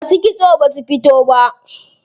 Masu kitso basu fito ba.